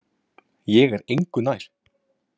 Ég er engu nær.